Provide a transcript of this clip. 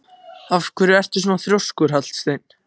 Af hverju ertu svona þrjóskur, Hallsteinn?